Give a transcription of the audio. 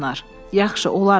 Yaxşı, olaram.